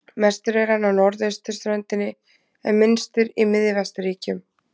Mestur er hann á norðausturströndinni en minnstur í miðvesturríkjunum.